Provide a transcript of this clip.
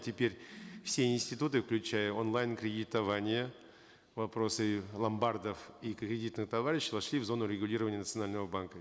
теперь все институты включая онлайн кредитование вопросы ломбардов и кредитных товариществ вошли в зону регулирования национального банка